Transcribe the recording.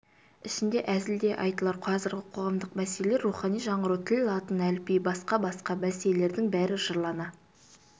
ішінде әзіл де айтылар қазіргі қоғамдық мәселелер рухани жаңғыру тіл латын әліпбиі басқа-басқа мәселелердің бәрі жырлана